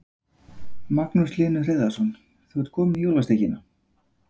Magnús Hlynur Hreiðarsson: Þú ert komin með jólasteikina?